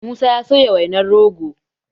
musa ya soya wainar rogo